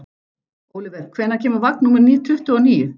Oliver, hvenær kemur vagn númer tuttugu og níu?